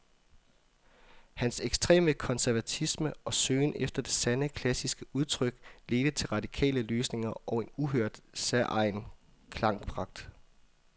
Hans ekstreme konservatisme og søgen efter det sande, klassiske udtryk ledte til radikale løsninger og en uhørt, særegen klangpragt.